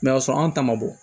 y'a sɔrɔ anw ta ma bɔ